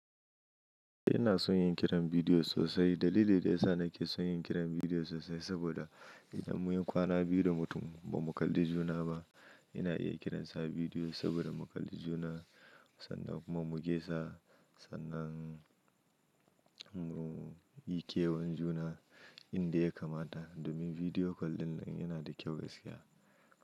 Ina son yin kiran bidiyo sosai. Dalili da ya sa nake son yin kiran bidiyo sosai saboda idan mun yi kwana biyu da mutum ba mu kalli juna ba, ina iya kiransa bidiyo saboda mu kalli juna sannan kuma mu gaisa sannan mu yi kewan juna inda ya kamata. Domin video call dinnan yana da kyau gaskiya.